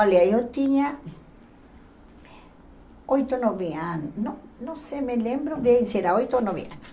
Olha, eu tinha oito ou nove anos, não não sei, me lembro bem, se era oito ou nove anos.